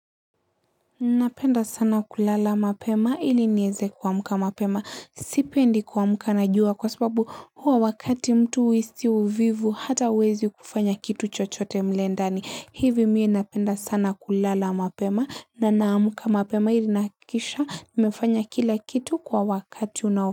Napenda sana kulala mapema ili nieze kumka mapema. Sipendi kuamka na jua kwa sababu huwa wakati mtu huhisi uvivu hata huwezi kufanya kitu chochote mle ndani. Hivi mie napenda sana kulala mapema na naamuka mapema ili nahakikisha nimefanya kila kitu kwa wakati unao.